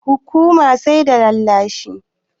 Hukuman sai da rarrashi.